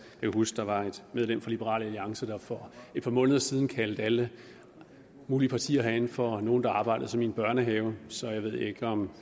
kan huske der var et medlem fra liberal alliance der for er par måneder siden kaldte alle mulige partier herinde for nogle der arbejdede som i en børnehave så jeg ved ikke om